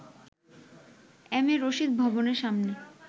M A Rashid ভবনের সামনে